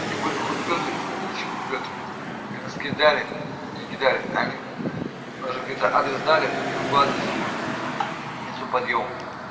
они ещё куплю ты удали меня кидали адрес дали другой телефон нету подъем